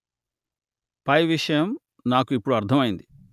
పై విషయం నాకు ఇప్పుడు అర్థం అయ్యింది